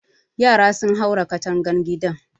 Yara sun haura katangan gidan